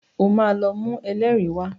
Ó máa lọ mú ẹlẹ́rìí wá.